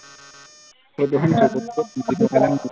ফটোখনত চকুটো মুদি থকা যেন হল